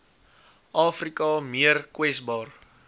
afrika meer kwesbaar